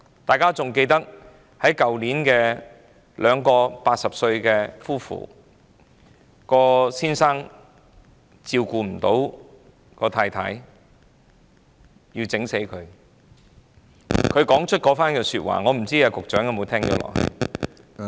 大家應該還記得去年有一對80歲高齡的夫婦，丈夫因無法照顧妻子而將她殺死，他當時說出的那句話不知局長可有聽到？